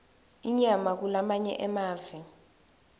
inyama kulamanye emave